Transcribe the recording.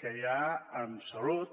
que hi ha en salut